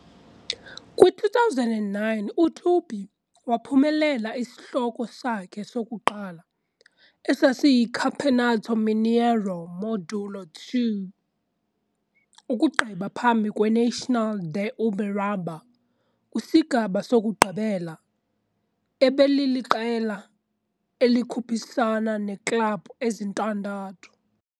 Kwi-2001, uTupi waphumelela isihloko sakhe sokuqala, esasiyiCampeonato Mineiro Módulo II, ukugqiba phambi kweNacional de Uberaba kwisigaba sokugqibela, ebeliliqela elikhuphisana neeklabhu ezintandathu.